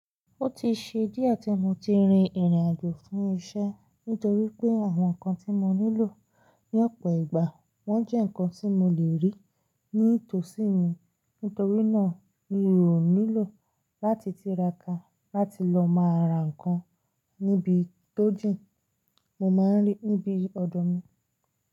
Ó ti ṣe díẹ̀ tí mo ti rin ìrìnàjò fún iṣẹ́ nítorí pé àwọn nǹkan tí mo nílò ní ọ̀pọ̀ ìgbà wọ́n jẹ́ nǹkan tí mo lè rí ní ìtòsí mi. Nítorí náà mi ò nílò láti tira ka láti lọ máa ra nǹkan níbi tó jìn, mo máa ń rí níbi ọ̀dọ̀ mi.